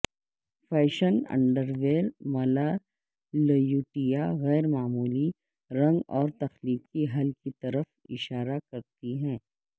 fashion underwear ملالیوٹیا غیر معمولی رنگ اور تخلیقی حل کی طرف اشارہ کرتی ہے